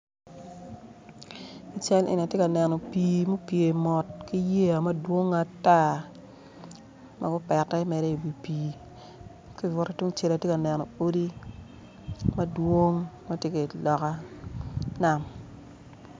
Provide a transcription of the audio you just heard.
Cal eni atye kaneno pii ma opye mot ki yeya madwongoo ata dok opete mere i wi pii ki i butte tungcel atye ka neno odi madwong ma tye i lokka nam